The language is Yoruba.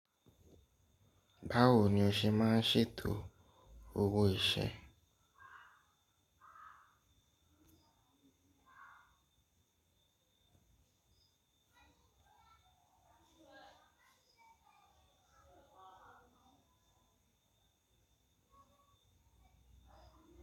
Báwo ni o ṣe máa ń ṣètò owó iṣẹ́?